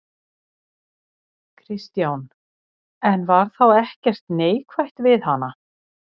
Kristján: En var þá ekkert neikvætt við hana?